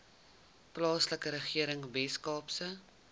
plaaslike regering weskaapse